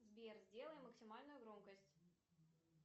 сбер сделай максимальную громкость